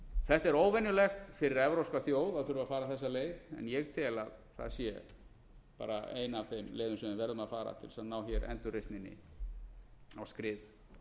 þetta er óvenjulegt fyrir evrópska þjóð að vilja fara þessa leið en ég tel að það sé ein af þeim leiðum sem við verðum að fara til að ná endurreisninni á skrið